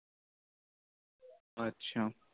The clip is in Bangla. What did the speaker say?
আচ্ছা।